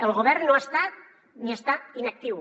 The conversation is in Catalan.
el govern no ha estat ni està inactiu